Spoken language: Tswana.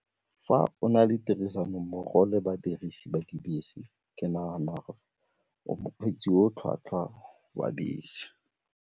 Fa o na le tirisanommogo le badirisi ba dibese ke naga gore o mokgweetsi o tlhwatlhwa wa bese.